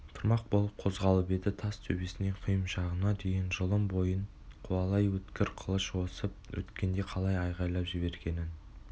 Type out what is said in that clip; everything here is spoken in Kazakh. тұрмақ болып қозғалып еді тас төбесінен құйымшағына дейін жұлын бойын қуалай өткір қылыш осып өткендей қалай айғайлап жібергенін